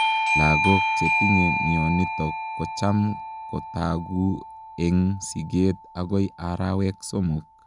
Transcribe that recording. Logok chetinye mionitok kochaam kotaguu eeg sigeet agoi arawek somok